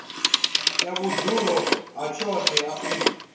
ya vhudzulo ha tshoṱhe afrika